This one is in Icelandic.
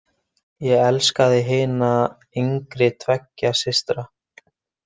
Ég elskaði hina yngri tveggja systra.